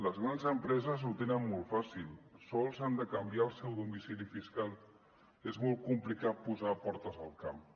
les grans empreses ho tenen molt fàcil sols han de canviar el seu domicili fiscal és molt complicat posar portes al camp